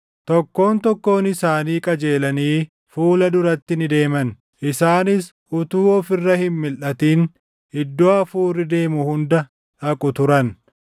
Tokkoon tokkoon isaanii qajeelanii fuula duratti ni deeman. Isaanis utuu of irra hin milʼatin iddoo hafuurri deemu hunda dhaqu turan.